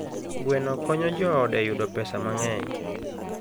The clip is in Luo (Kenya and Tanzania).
Gweno konyo joode yudo pesa mang'eny.